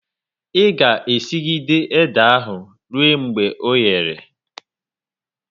I ga e sigide ede ahu ruo mgbe oghere!